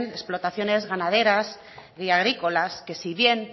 explotaciones ganaderas y agrícolas que si bien